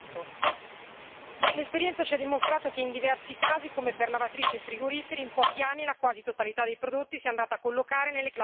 L'esperienza ci ha dimostrato che in diversi casi, come per lavatrici e frigoriferi, in pochi anni la quasi totalità dei prodotti si è andata a collocare nelle classi di efficienza più alte.